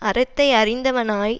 அறத்தை அறிந்தவனாய்